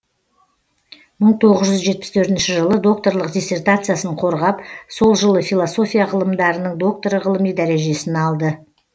мың тоғыз жүз жетпіс төртінші жылы докторлық диссертациясын қорғап сол жылы философия ғылымдарының докторы ғылыми дәрежесін алды